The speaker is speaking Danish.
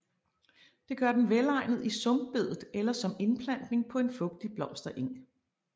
Det gør den velegnet i sumpbedet eller som indplantning på en fugtig blomstereng